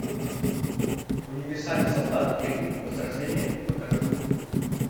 универсальный солдат три возрождение покажи